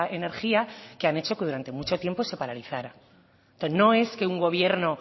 energía que han hecho que durante mucho tiempo se paralizara no es que un gobierno